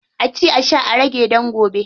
A ci a sha a rage dan gobe.